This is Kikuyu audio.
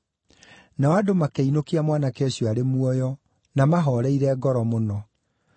Nao andũ makĩinũkia mwanake ũcio arĩ muoyo, na mahooreire ngoro mũno.